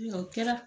O kɛra